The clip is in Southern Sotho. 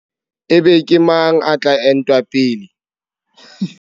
Ebe ke mang a tla entwa pele?